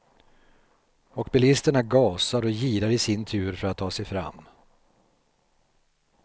Och bilisterna gasar och girar i sin tur för att ta sig fram.